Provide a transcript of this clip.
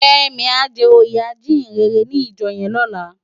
Femi á jè óyé ájiyinrèrè ni ijò yèn lòlá